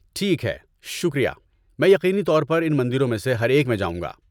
‏ٹھیک ہے، شکریہ، میں یقینی طور پر ان مندروں میں سے ہر ایک میں جاؤں گا